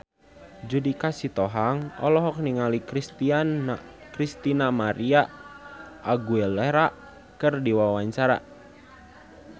Judika Sitohang olohok ningali Christina María Aguilera keur diwawancara